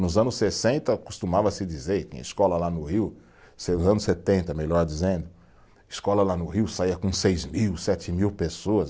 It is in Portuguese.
Nos anos sessenta costumava-se dizer, tem escola lá no Rio, se nos anos setenta, melhor dizendo, escola lá no Rio saía com seis mil, sete mil pessoas.